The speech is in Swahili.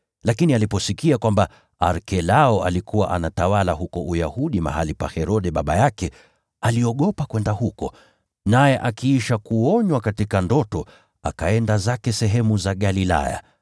Lakini aliposikia kwamba Arkelao alikuwa anatawala huko Uyahudi mahali pa Herode baba yake, aliogopa kwenda huko. Naye akiisha kuonywa katika ndoto, akaenda zake sehemu za Galilaya,